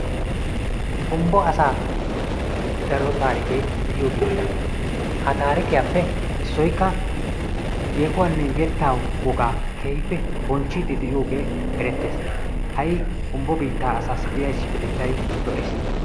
Humbo asaa daro taarikee de'iyo biitta, ha taarikkiyappe issoykka yeehuwanne yettaa wogaa, keehippe bonchiidi de'iyoge eretees, hayi humbo biitta asaa issipetettay lo'ees.